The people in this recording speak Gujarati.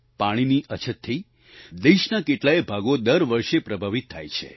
પાણીની અછતથી દેશના કેટલાય ભાગો દર વર્ષે પ્રભાવિત થાય છે